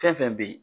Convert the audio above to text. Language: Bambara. Fɛn fɛn bɛ ye